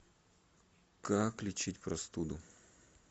как лечить простуду